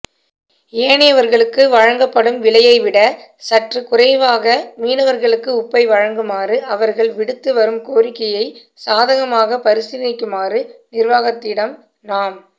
ஏனையவர்களுக்கு வழங்கப்படும் விலையைவிட சற்று குறைவாக மீனவர்களுக்கு உப்பை வழங்குமாறு அவர்கள் விடுத்துவரும் கோரிக்கையை சாதகமாக பரிசீலிக்குமாறு நிர்வாகத்திடம் நாம்